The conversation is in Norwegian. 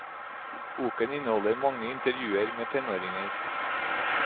Boken inneholder mange intervjuer med tenåringer.